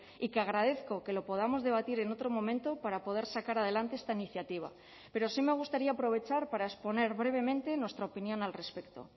y que agradezco que lo podamos debatir en otro momento para poder sacar adelante esta iniciativa pero sí me gustaría aprovechar para exponer brevemente nuestra opinión al respecto